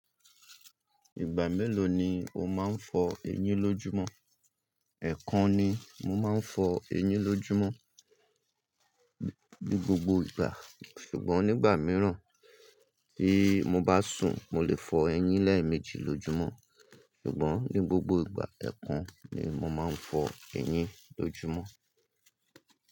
Ìgbà mélòó ni o máa ń fọ ẹyín lójúmọ́? Ẹ̀kan ni mo máa ń fọ ẹyín lójúmọ́, ní gbogbo ìgbà, ṣùgbọ́n nígbà míràn bí mo bá sùn, mo lè fọ ẹyín lẹ́ẹ̀mejì lójúmọ́. Ṣùgbọ́n ní gbogbo ìgbà, ẹ̀kan ni mo máa ń fọ ẹyín lójúmọ́.